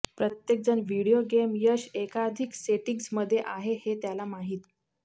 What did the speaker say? प्रत्येकजण video game यश एकाधिक सेटिंग्ज मध्ये आहे हे त्याला माहीत